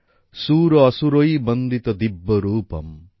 সুর অসুরৈঃ বন্দিত দিব্য রুপম্